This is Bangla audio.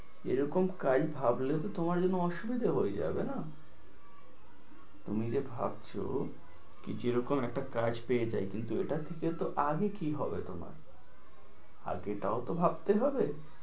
এ রকম কাজ ভাবলে তো তোমার জন্য অসুবিধা হয়ে যাবে না? তুমি যে ভাবছো কি যে রকম একটা কাজ পেয়ে যাই, কিন্তু এটা থেকে তো আগে কি হবে তোমার? আগে এটাও তো ভাবতে হবে।